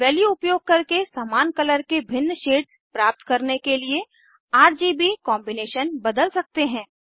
value उपयोग करके समान कलर के भिन्न शेड्स प्राप्त करने के लिए आरजीबी कॉम्बिनेशन बदल सकते हैं